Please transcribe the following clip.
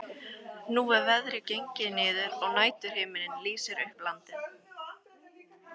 Nú er veðrið gengið niður og næturhiminninn lýsir upp landið.